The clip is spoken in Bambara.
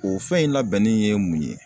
O fɛn in labɛnnin ye mun ye?